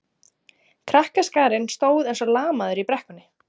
Krakkaskarinn stóð eins og lamaður í brekkunni.